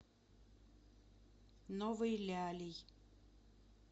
новой лялей